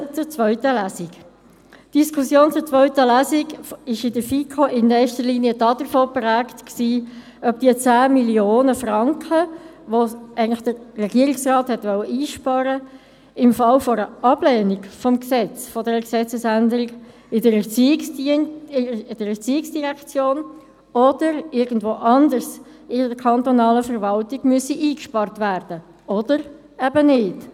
Zur zweiten Lesung: Die Diskussion zur zweiten Lesung war in der FiKo in erster Linie geprägt von der Frage, ob die 10 Mio. Franken, die der Regierungsrat eigentlich einsparen wollte, im Falle einer Ablehnung der Gesetzesänderung in der ERZ oder woanders in der kantonalen Verwaltung eingespart werden müssten oder nicht.